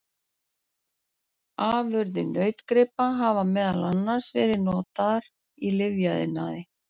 Afurðir nautgripa hafa meðal annars verið notaðar í lyfjaiðnaði.